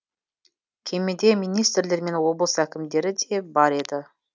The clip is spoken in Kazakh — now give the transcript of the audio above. кемеде министрлер мен облыс әкімдері де бар еді